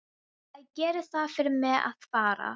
Æ, gerið það fyrir mig að fara.